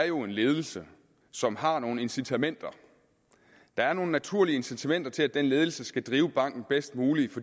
jo en ledelse som har nogle incitamenter der er nogle naturlige incitamenter til at den ledelse skal drive banken bedst muligt